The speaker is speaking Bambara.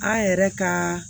An yɛrɛ ka